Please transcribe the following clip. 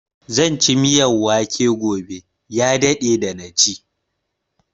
Zan ci miyan wake gobe, ya daɗe da na ci.